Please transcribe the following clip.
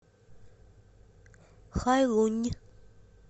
хайлунь